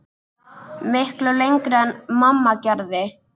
Miklu lengra en mamma gerði.